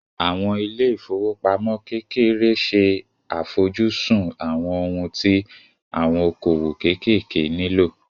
Àwọn ilé ìfowópamọ́ kékeré ṣe àfojúsùn àwọn ohun tí àwọn okòwò kéékèèké nílò